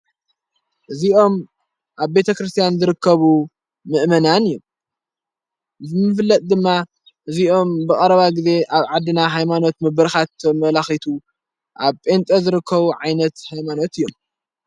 እዚኦም ኣብ ቤተ ክርስቲያን ዝርከቡ ምእመናን እዮም ምፍለጥ ድማ እዚይኦም ብቐረባ ጊዜ ኣብ ዓድና ኃይማኖት ምብርኻቶ መላኺቱ ኣብ ጴንጤ ዝርከቡ ዓይነት ኃይማኖት እዮም።